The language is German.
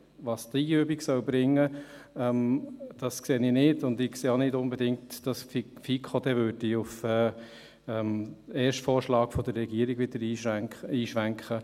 Was diese Übung bringen soll, sehe ich nicht, und ich sehe auch nicht unbedingt, dass die FiKo wieder auf den ersten Vorschlag der Regierung einschwenken würde.